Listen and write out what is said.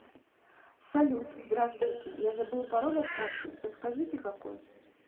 салют здравствуйте я забыл пароль от карты подскажите какой